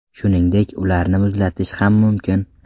Shuningdek, ularni muzlatish ham mumkin.